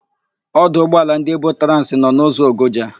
Ọdụ ụgbọala ndị Ebotransị nọ n'ụzọ Ogoja.